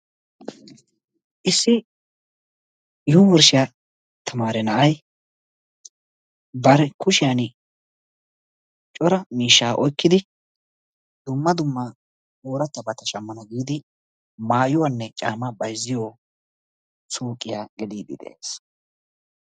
issi yunburshiya tamaare na'ay bari kushiyani cora miishshaa oykkidi dumma dumma ooratabata shamana giidi maayuwanne caamaa bayzziyo suuqiya geliidi beetees.